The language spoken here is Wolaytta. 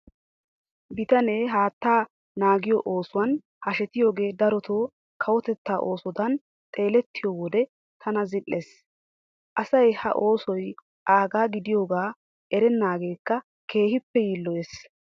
Biittaanne haattaa naagiyo oosuwan hashetiyogee darotoo kawotettaa oosodan xeelettiyo wode tana zil"ees. Asay ha oosoy aagaa gidiyogaa erennaageekka keehippe yiilloyees.